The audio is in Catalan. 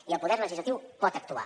i el poder legislatiu pot actuar